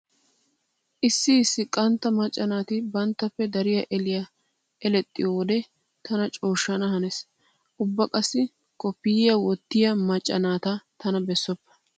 Issi issi qantta macca naati banttappe dariya eliya elexxiyowode tana cooshshana hanees. Ubba qassi koppiyyiya wottiya macca naata tana bessoppa.